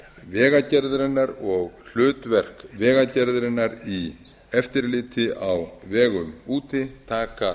vegagerðarinnar og hlutverk vegagerðarinnar í eftirliti á vegum úti taka